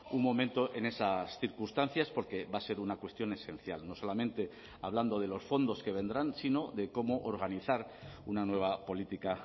un momento en esas circunstancias porque va a ser una cuestión esencial no solamente hablando de los fondos que vendrán sino de cómo organizar una nueva política